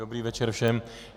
Dobrý večer všem.